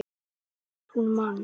Hvort hún man!